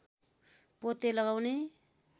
पोते लगाउने